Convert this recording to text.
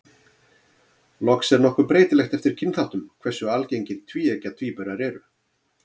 Loks er nokkuð breytilegt eftir kynþáttum hversu algengir tvíeggja tvíburar eru.